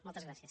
moltes gràcies